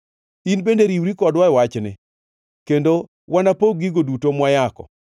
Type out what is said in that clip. In bende riwri kodwa e wachni, kendo wanapog gigo duto mwayako.”